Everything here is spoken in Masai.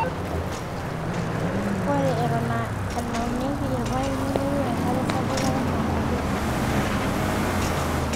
Ore Eton aa enaunieki irpaek nemeyieu enkare sapuk Eton aa kutitik.